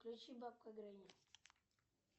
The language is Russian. включи бабка гренни